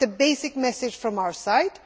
This is the basic message from our side.